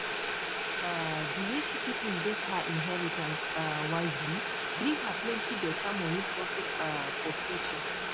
um di way she take invest her inheritance um wisely bring her plenty better money profit um for future